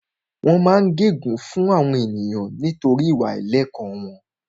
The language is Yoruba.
Wọ́n máa ń gẹ gun fún àwọn ènìyàn nítorí ìwà àìlẹ̀kọ́ wọn